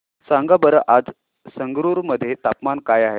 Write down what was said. सांगा बरं आज संगरुर मध्ये तापमान काय आहे